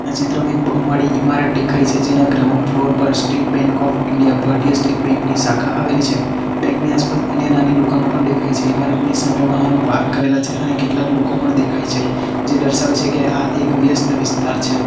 આ ચિત્રમાં એક બહુમાળી ઈમારત ડેખાય છે જેના ગ્રાઉન્ડ ફ્લોર પર સ્ટેટ બેન્ક ઓફ ઇન્ડિયા ભારતીય સ્ટેટ બેન્ક ની શાખા આવેલી છે બેંક ની આસપાસ અન્ય નાની ડુકાનો પણ દેખાય છે ઈમારતની સામે વાહનો પાર્ક કરેલા છે અને કેટલાક લોકો પણ દેખાય છે જે ડર્શાવે છે કે આ એક વ્યસ્ત વિસ્તાર છે.